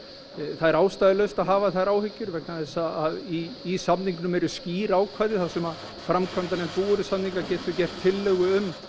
það er ástæðulaust að hafa þær áhyggjur vegna þess að í samningnum eru skýr ákvæði þar sem að framkvæmdarnefnd búvörusamninga getur gert tillögu um